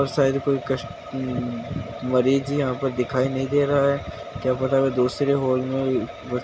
और शायद कोई कस्ट अ मरीज यहाँ पर दिखाई नहीं दे रहा है क्या पता वो दूसरे हॉल में ब --